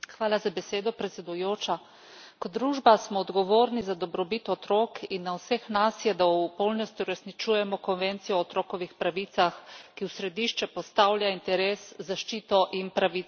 Hvala za besedo, predsedujoča. Kot družba smo odgovorni za dobrobit otrok in na vseh nas je, da v polnosti uresničujemo konvencijo o otrokovih pravicah, ki v središče postavlja interes, zaščito in pravico otrok.